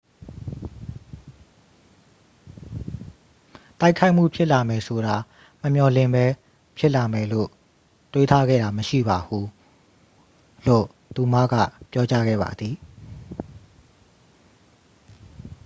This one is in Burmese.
"""တိုက်ခိုက်မှုဖြစ်လာမယ်ဆိုတာ မမျှော်လင့်ဘဲ ဖြစ်လာမယ်လို့ တွေးထားခဲ့တာမရှိပါဘူး၊" လို့ သူမက ပြောကြားခဲ့ပါသည်။